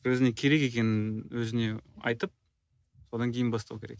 өзіне керек екенін өзіне айтып содан кейін бастау керек